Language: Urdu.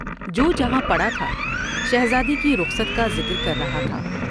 جو جہاں پڑا تھا شہزادے کی رخصت کا ذکر کر رہا تھا ۔